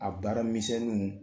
A baara misɛnninw